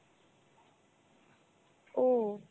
ও